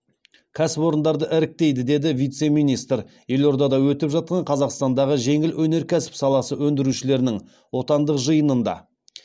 кәсіпорындарды іріктейді деді вице министр елордада өтіп жатқан қазақстандағы жеңіл өнеркәсіп саласы өндірушілерінің отандық жиынында